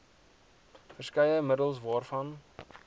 verskeie middels waarvan